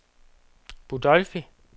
Budolfi